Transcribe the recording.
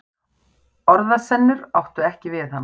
Orðasennur áttu ekki við hana.